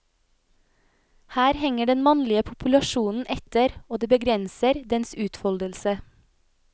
Her henger den mannlige populasjonen etter, og det begrenser dens utfoldelse.